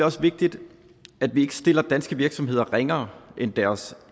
også vigtigt at vi ikke stiller danske virksomheder ringere end deres